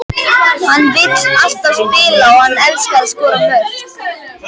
Hann vill alltaf spila og hann elskar að skora mörk.